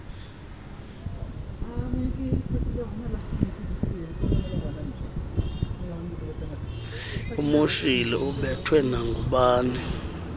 umoshile ubethwe nangubani